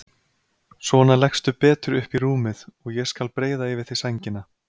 Svona leggstu betur upp í rúmið og ég skal breiða yfir þig sængina.